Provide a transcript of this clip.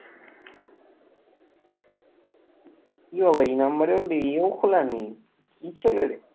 এ বাবা এই number ও নেই এও খোলা নেই কি ছেলে রে,